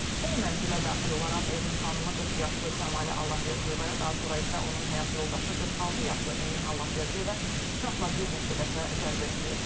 O mənzilə daxil olaraq evin xanımı 40 yaşlı Kəmalə Allahverdiyevaya, daha sonra isə onun həyat yoldaşı 46 yaşlı Emin Allahverdiyevə bıçaqla bir neçə dəfə zərbə endirib.